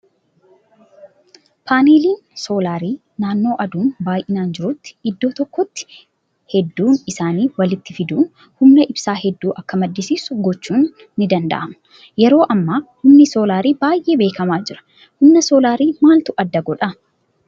Paaneeliin soolarii naannoo aduun baay'inaan jirutti iddoo tokkotti hedduu isaanii walitti fiduun humna ibsaa hedduu akka madiisiisu gochuun ni danda'ama. Yeroo ammaa humni soolarii baay'ee beekamaa jira. Humna soolarii maaltu adda godhaa?